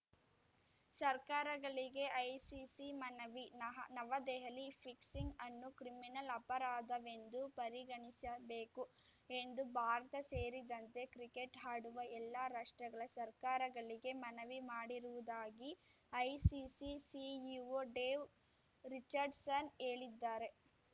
ಸರ್ಕಾರಗಳಿಗೆ ಐಸಿಸಿ ಮನವಿ ನಹ ನವದೆಹಲಿ ಫಿಕ್ಸಿಂಗ್‌ ಅನ್ನು ಕ್ರಿಮಿನಲ್‌ ಅಪರಾಧವೆಂದು ಪರಿಗಣಿಸಿಬೇಕು ಎಂದು ಭಾರತ ಸೇರಿದಂತೆ ಕ್ರಿಕೆಟ್‌ ಆಡುವ ಎಲ್ಲಾ ರಾಷ್ಟ್ರಗಳ ಸರ್ಕಾರಗಳಿಗೆ ಮನವಿ ಮಾಡಿರುವುದಾಗಿ ಐಸಿಸಿ ಸಿಇಒ ಡೇವ್‌ ರಿಚರ್ಡ್‌ಸನ್‌ ಹೇಳಿದ್ದಾರೆ